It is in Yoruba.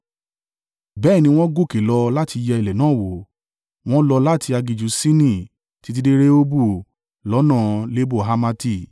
Bẹ́ẹ̀ ni wọ́n gòkè lọ láti yẹ ilẹ̀ náà wò, wọ́n lọ láti aginjù Sini títí dé Rehobu lọ́nà Lebo-Hamati.